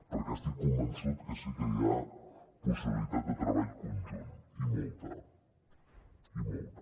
perquè estic convençut que sí que hi ha possibilitat de treball conjunt i molta i molta